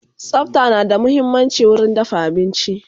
Tsafta na da muhimmanci wurin dafa abinci